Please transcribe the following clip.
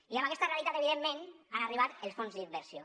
i amb aquesta realitat evidentment han arribat els fons d’inversió